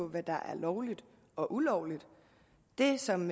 hvad der er lovligt og ulovligt det som